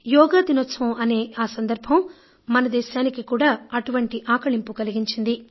యోగా దినోత్సవం అనే ఆ సందర్భం మన దేశానికి కూడా అటువంటి ఆకళింపు కలిగించింది